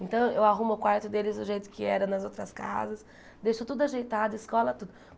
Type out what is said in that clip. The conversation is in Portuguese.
Então eu arrumo o quarto deles do jeito que era nas outras casas, deixo tudo ajeitado, escola, tudo.